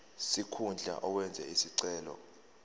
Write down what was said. sikhundla owenze isicelo